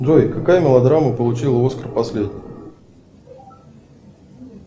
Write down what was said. джой какая мелодрама получила оскар последней